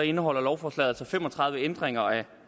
indeholder lovforslaget altså fem og tredive ændringer af